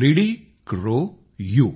Lidikroyu